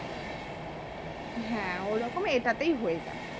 হ্যাঁ ঐরকম এটাতেও হয়ে যাবে